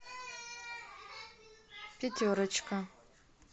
пятерочка